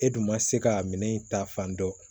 E dun ma se ka minɛn in ta fan dɔ